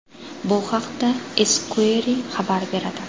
Bu haqda Esquire xabar beradi.